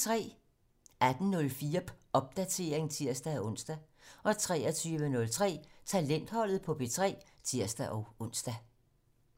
18:04: Popdatering (tir-ons) 23:03: Talentholdet på P3 (tir-ons)